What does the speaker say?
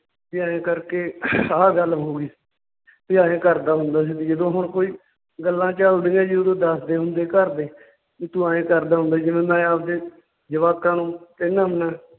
ਵੀ ਆਂਏ ਕਰਕੇ ਆਹ ਗੱਲ ਹੋ ਗਈ ਵੀ ਆਂਏ ਕਰਦਾ ਹੁੰਦਾ ਸੀ ਵੀ ਜਦੋਂ ਹੁਣ ਕੋਈ ਗੱਲਾਂ ਚੱਲਦੀਆਂ ਜੀ ਓਦੋਂ ਦੱਸਦੇ ਹੁੰਦੇ ਘਰਦੇ ਵੀ ਤੂੰ ਆਂਏ ਕਰਦਾ ਹੁੰਦਾ ਸੀ, ਜਿਵੇਂ ਮੈਂ ਆਵਦੇ ਜਵਾਕਾਂ ਨੂੰ ਕਹਿਨਾ ਹੁਨਾ